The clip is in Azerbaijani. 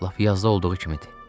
Lap yazda olduğu kimidir.